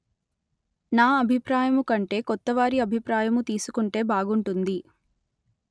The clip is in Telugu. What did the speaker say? నా అభిప్రాయము కంటే కొత్త వారి అభిప్రాయము తీసుకుంటే బాగుంటుంది